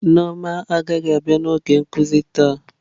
Nneoma agaghị abịa n'oge nkuzi taa.